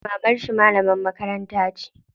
Mamarshi malamar makaranta ce.